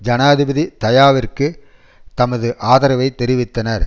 ஜனாதிபதி தயாவிற்கு தமது ஆதரவை தெரிவித்தனர்